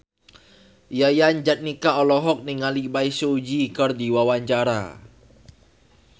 Yayan Jatnika olohok ningali Bae Su Ji keur diwawancara